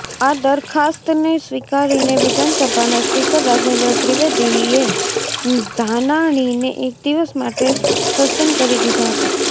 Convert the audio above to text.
આ દરખાસ્તને સ્વીકારીને વિધાનસભાના સ્પીકર રાજેન્દ્ર ત્રિવેદીએ ધાનાણીને એક દિવસ માટે સસ્પેન્ડ કરી દીધા હતા